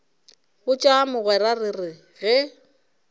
botša mogwera re re ge